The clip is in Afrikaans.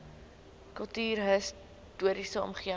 kultuurhis toriese omgewing